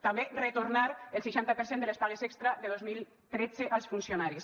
també retornar el seixanta per cent de les pagues extra de dos mil tretze als funcionaris